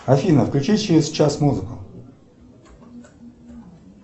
афина включи через час музыку